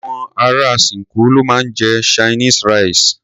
Àwọn ará ṣinkó ló máa ń jẹ Chinese rice.